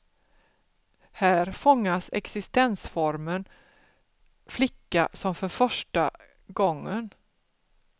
Här fångas existensformen flicka som för första gången.